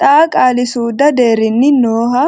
xaa qaali suudu deerrinni nooha.